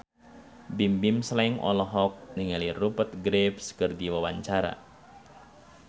Bimbim Slank olohok ningali Rupert Graves keur diwawancara